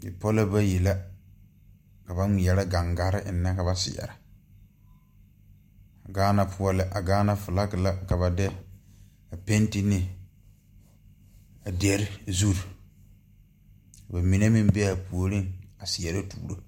Bipɔlɔ bayi la ka ba ngmeɛrɛ gaŋgarre eŋnɛ ka ba seɛrɛ gaana poɔ la a gaana flaki ka ba de a penti ne a dere zure ka ba mine meŋ bee aa puoriŋ a seɛrɛ tuuro.